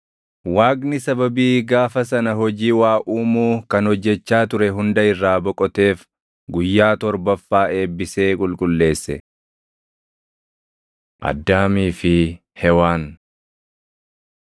Waaqni sababii gaafa sana hojii waa uumuu kan hojjechaa ture hunda irraa boqoteef guyyaa torbaffaa eebbisee qulqulleesse. Addaamii fi Hewaan